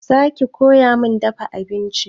Za ki koya min dafa abinci?